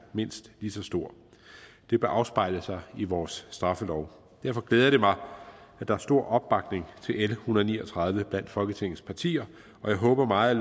mindst lige så stor det bør afspejle sig i vores straffelov derfor glæder det mig at der er stor opbakning til l en hundrede og ni og tredive blandt folketingets partier og jeg håber meget